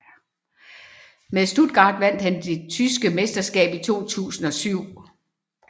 Med Stuttgart vandt han det tyske mesterskab i 2007